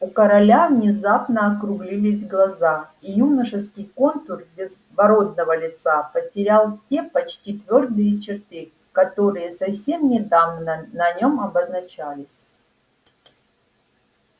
у короля внезапно округлились глаза и юношеский контур безбородого лица потерял те почти твёрдые черты которые совсем недавно на нём обозначались